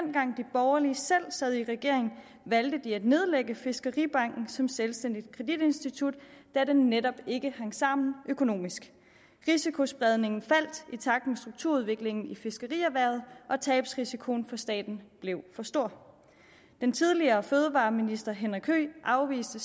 borgerlige selv sad i regering valgte de at nedlægge fiskeribanken som selvstændigt kreditinstitut da den netop ikke hang sammen økonomisk risikospredningen faldt i takt med strukturudviklingen i fiskerierhvervet og tabsrisikoen for staten blev for stor den tidligere fødevareminister herre henrik høegh afviste